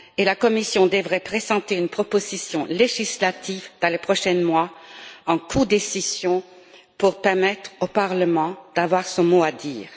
La Commission devrait présenter une proposition législative dans les prochains mois en codécision, pour permettre au Parlement d'avoir son mot à dire.